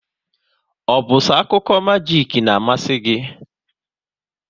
Ọ bụ so akụkọ majik n'amasi gị?